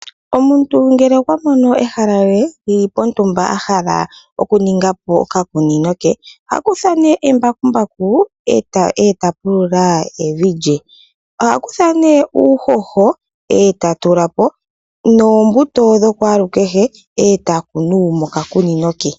Omuntu ngele okwa mono ehala lye lyili pontumba ahala oku ningapo okakunino ke, oha kutha nee embakumbaku eta pulula evi lye. Oha kutha nee uuhoho eta tulapo nombuto dhokwaalukehe eta kunu moka kunino ke.